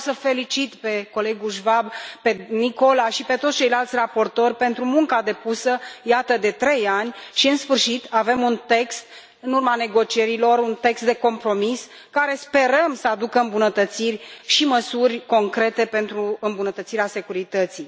Vreau să îi felicit pe colegul Schwab, pe Nicola și pe toți ceilalți raportori pentru munca depusă, iată, de trei ani și, în sfârșit, în urma negocierilor, avem un text de compromis care sperăm să aducă îmbunătățiri și măsuri concrete pentru îmbunătățirea securității.